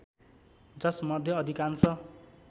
जसमध्ये अधिकांश